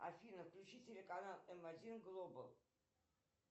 афина включи телеканал м один глобал